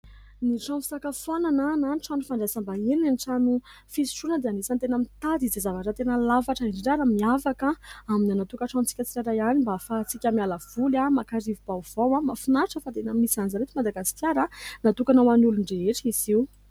Ny trano fisakafoanana na ny trano fandrasaim-bahiny na ny trano fisotroana dia anisan'ny tena mitady izay zavatra tena lafatra indrindra ary miavaka aminy any tokantranontsika tsirairay avy mba hahafahantsika miala voly, maka rivo-baovao. Mahafinaritra fa tena misy an'izany eto Madagasikara natokana ho an'ny olon-drehetra izy io.